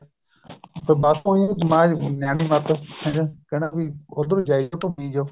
ਬਸ ਉਹਦੀ ਨਿਆਣੀ ਮੱਤ ਕਹਿੰਦਾ ਵੀ ਉੱਧਰ ਜਾਈ ਜਾਓ ਘੁੰਮੀ ਜਾਓ